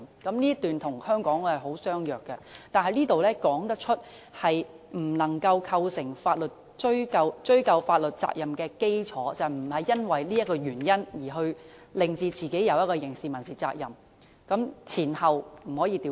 "這一段與香港的相若，但此段說明不能構成追究法律責任的基礎，即被告人不是因為這個原因而令自己承受刑事、民事責任，前後次序不能倒轉。